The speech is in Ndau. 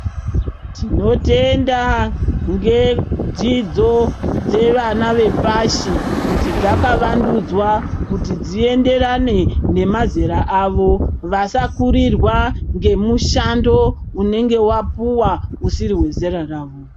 Tinotenda ngedzidzo dzevana vepashi kuti dzakavandudzwa kuti dzienderane nemazera avo vasakurirwa ngemushando unenge wapuwa usiri wezera ravo